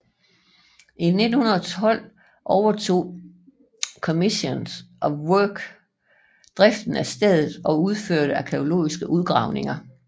I 1912 overtog Commissioners of Work driften af stedet og udførte arkæologiske udgravninger